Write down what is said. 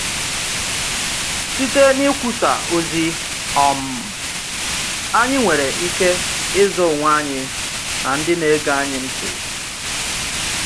Site n’ikwusà ozi, um anyị nwere ike ịzọ onwe anyị na ndị na-ege anyị ntị.